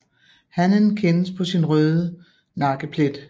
Hannen kendes på sin røde nakkeplet